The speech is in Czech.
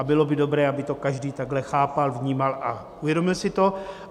A bylo by dobré, aby to každý takhle chápal, vnímal a uvědomil si to.